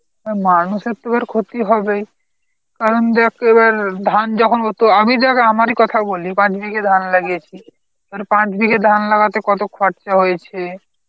হ্যাঁ মানুষের তো ধর ক্ষতি হবেই কারণ দেখ এবার ধান যখন হতো আমি দেখ আমারই কথা বলি, পাঁচ বিঘার ধান লাগিয়েছি. এবারে পাঁচ বিঘে ধান লাগাতে কত খরচা হয়েছে